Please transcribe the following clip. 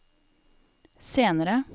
senere